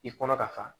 I kɔnɔ ka fa